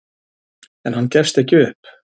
En hann gefst ekki upp.